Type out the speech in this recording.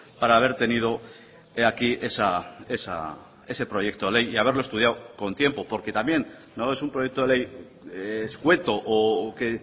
para haber tenido aquí ese proyecto de ley y haberlo estudiado con tiempo porque también no es un proyecto de ley escueto o que